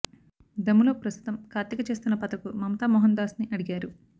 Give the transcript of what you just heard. దమ్ములో ప్రస్తుతం కార్తీక చేస్తున్న పాత్రకు మమతామోహన్ దాస్ ని అడిగారు